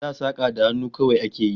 Da saka da hannu kawai a ke yi